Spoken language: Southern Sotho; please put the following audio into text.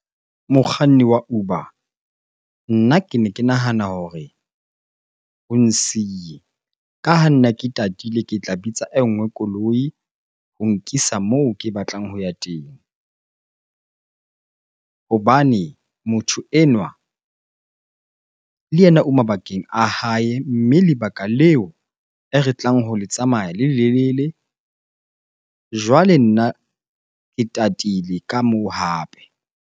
Mokganni wa Uber, nna kene ke nahana hore o nsiye. Ka ha nna ke tatile, ke tla bitsa e nngwe koloi ho nkisa moo ke batlang ho ya teng. Hobane motho enwa le yena o mabakeng a hae, mme lebaka leo e re tlang ho le tsamaya le lelele. Jwale nna ke tatile ka moo hape.